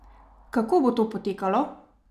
Kako bo to potekalo?